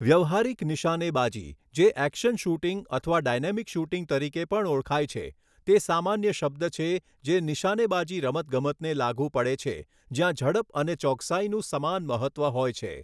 વ્યવહારિક નિશાનેબાજી, જે એક્શન શૂટિંગ અથવા ડાયનેમિક શૂટિંગ તરીકે પણ ઓળખાય છે, તે સામાન્ય શબ્દ છે જે નિશાનેબાજી રમતગમતને લાગુ પડે છે જ્યાં ઝડપ અને ચોકસાઈનું સમાન મહત્ત્વ હોય છે.